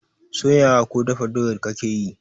Soya wa ko dafa doyar kake yi?